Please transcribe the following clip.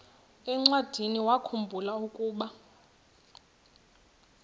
encwadiniwakhu mbula ukuba